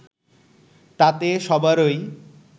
তাতে সবারই